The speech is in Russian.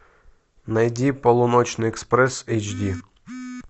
найди полуночный экспресс эйч ди